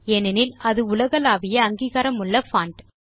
ஏனெனில் அது உலகளாவிய அங்கீகாரமுள்ள பான்ட்